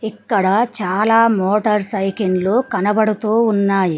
ఇక్కడ చాలా మోటర్ సైకిండ్లు కనబడుతూ ఉన్నాయి.